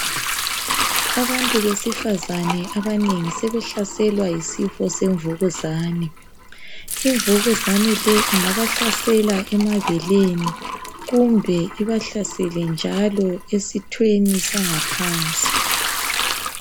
Abantu besifazana abanengi sebehlaselwa yisifo semvukuzane imvukuzane le ingabahlasela emabeleni kumbe ibahlasele njalo esithweni sangaphansi.